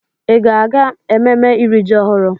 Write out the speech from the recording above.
Ị ga-aga ememme iri ji ọhụrụ?